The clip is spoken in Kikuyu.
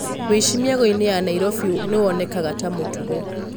Wĩici mĩagoinĩ ya Nairobi nĩwonekaga ta mũtugo.